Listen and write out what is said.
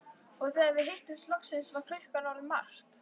Og þegar við hittumst loksins var klukkan orðin margt.